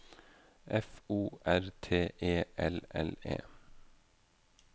F O R T E L L E